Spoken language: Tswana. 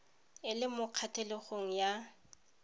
e le mo kgatlhegong ya